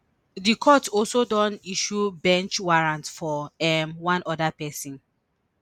di court also don issue bench warrant for um one oda pesin